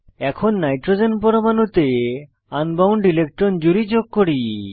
এখন নাইট্রোজেন পরমাণুতে unbound electron জুড়ি যোগ করি